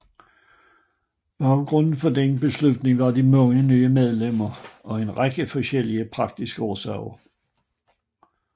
Baggrunden for denne beslutning var de mange nye medlemmer og en række forskellige praktiske årsager